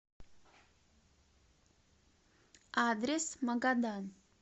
адрес магадан